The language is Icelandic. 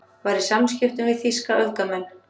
Var í samskiptum við þýska öfgamenn